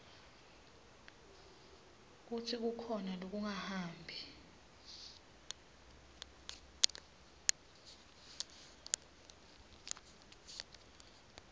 kutsi kukhona lokungahambi